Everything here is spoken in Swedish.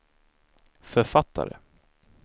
författare